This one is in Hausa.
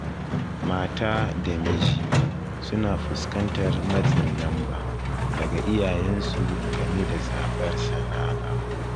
Mata da miji suna fuskantar matsin lamba daga iyayensu game da zaɓar sana'a